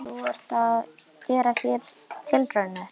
Þú ert að gera hér tilraunir?